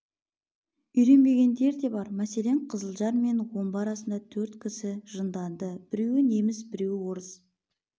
үйренбегендер де бар мәселен қызылжар мен омбы арасында төрт кісі жынданды біреуі неміс біреуі орыс бір